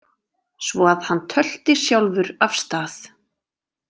Svo að hann tölti sjálfur af stað.